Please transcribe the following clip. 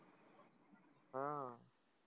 हा.